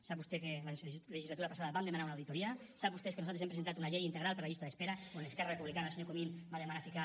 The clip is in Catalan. sap vostè que la legislatura passada vam demanar una auditoria sap vostè que nosaltres hem presentat una llei integral per la llista d’espera quan esquerra republicana el senyor comín va demanar ficar